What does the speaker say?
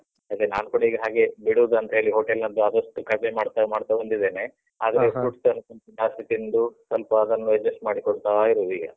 ಅದೇ ನಾನ್ ಕೂಡ ಈಗ ಹಾಗೇ ಬಿಡುದಂತ ಹೇಳಿ hotel ನದ್ದು ಆದಷ್ಟು ಕಡ್ಮೆ ಮಾಡ್ತಾ ಮಾಡ್ತಾ ಬಂದಿದ್ದೇನೆ. ಹಾಗೆ ಈ fruits ಎಲ್ಲ ಸ್ವಲ್ಪ ಜಾಸ್ತಿ ತಿಂದು, ಸ್ವಲ್ಪ ಅದನ್ನು adjust ಮಾಡಿಕೊಳ್ತಾ ಇರುದೀಗ.